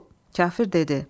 Kafir dedi: